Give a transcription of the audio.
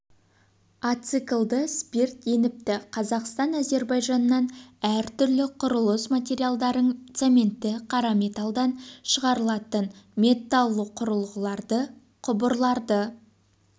ациклды спирт еніпті қазақстан әзербайжаннан әр түрлі құрылыс материалдарын цементті қара металлдан шығарылатын металлоқұрылғыларды құбырларды